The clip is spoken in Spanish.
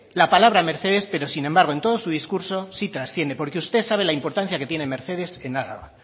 la palabra mercedes pero sin embargo en todo su discurso sí trasciende porque usted sabe la importancia que tiene mercedes en araba